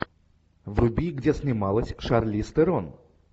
вруби где снималась шарлиз терон